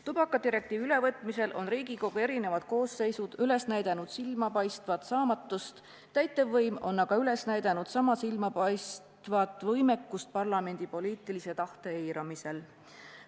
Tubakadirektiivi ülevõtmisel on Riigikogu eri koosseisud üles näidanud silmapaistvat saamatust, täitevvõim on aga üles näidanud sama silmapaistvat võimekust parlamendi poliitilise tahte eiramisel.